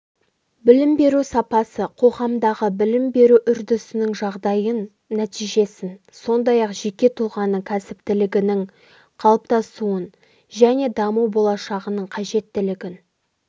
білім беру сапасы қоғамдағы білім беру үрдісінің жағдайын нәтижесін сондай-ақ жеке тұлғаның кәсіптілігінің қалыптасуын және даму болашағының қажеттілігін